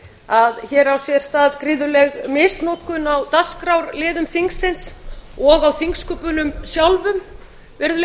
að hér á sér stað gríðarleg misnotkun á dagskrárliðum þingsins og á þingsköpunum sjálfum virðulegi